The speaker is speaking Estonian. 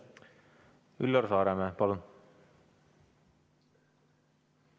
Üllar Saaremäe, palun!